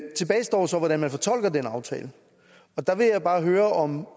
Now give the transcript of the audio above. tilbage står så hvordan man fortolker den aftale der vil jeg bare høre om